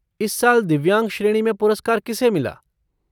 इस साल दिव्यांग श्रेणी में पुरस्कार किसे मिला?